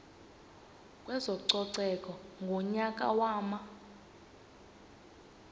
kwezococeko ngonyaka wama